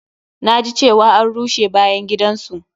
Na ji cewa an rusa bayan gidan su.